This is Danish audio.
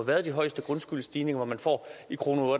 været de højeste grundskyldsstigninger at man i kroner og